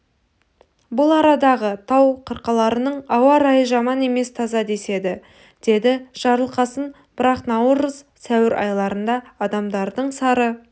бұл арадағы тау қырқаларының ауа райы жаман емес таза деседі деді жарылқасын бірақ наурыз сәуір айларында адамдардың сары